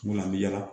Munna a bɛ yala